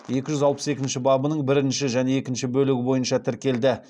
екі жүз алпыс екінші бабының бірінші және екінші бөлігі бойынша тіркелді